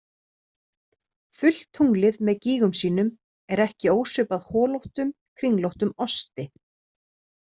Fullt tunglið með gígum sínum er ekki ósvipað holóttum, kringlóttum osti.